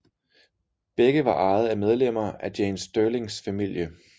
Begge var ejet af medlemmer af Jane Stirlings familie